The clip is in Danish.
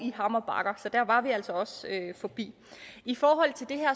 i hammer bakker så der var vi altså også forbi i forhold til det her